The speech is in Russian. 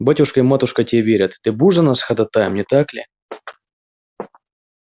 батюшка и матушка тебе верят ты будешь за нас ходатаем не так ли